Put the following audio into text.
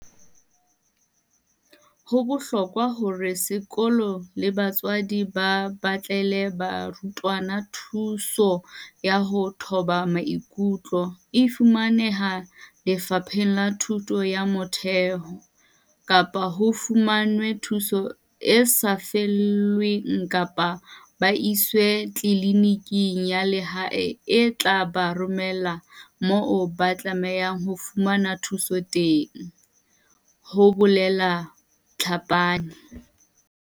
"Ho bohlokwa hore sekolo le batswadi ba batlele barutwana thuso ya ho thoba maikutlo, e fumanehang Lefapheng la Thuto ya Motheo, kapa ho fumanwe thuso e sa lefellweng kapa ba iswe tliliniking ya lehae e tla ba romela moo ba tlamehang ho fumana thuso teng," ho bolela Tlhapane.